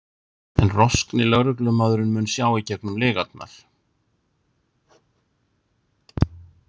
En roskni lögreglumaðurinn mun sjá í gegnum lygarnar.